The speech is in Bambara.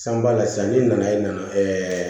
San ba la sisan ni nana i nana